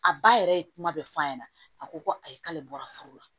A ba yɛrɛ ye kuma bɛɛ f'a ɲɛna a ko ko ayi k'ale bɔra furu la